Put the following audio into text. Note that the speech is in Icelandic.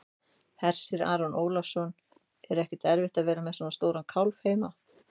Hersir Aron Ólafsson: Er ekkert erfitt að vera með svona stóran kálf heima?